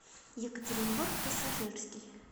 екатеринбург пассажирский